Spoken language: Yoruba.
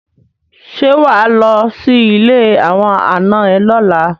Ṣé wà á lọ sí ilé àwọn ànà ẹ lọ́la?